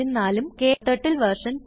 ഉം ക്ടർട്ടിൽ വെർഷൻ